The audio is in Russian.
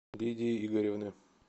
лидии игоревны